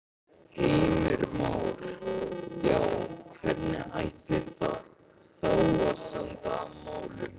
Heimir Már: Já, hvernig ætti þá að standa að málum?